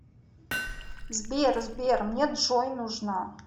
сбер сбер мне джой нужна